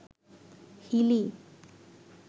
Hili